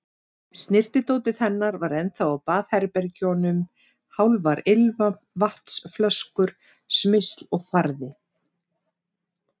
Snyrtidótið hennar var ennþá á baðherbergjunum, hálfar ilmvatnsflöskur, smyrsl og farði.